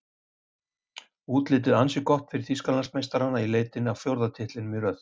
Útlitið ansi gott fyrir Þýskalandsmeistarana í leitinni að fjórða titlinum í röð.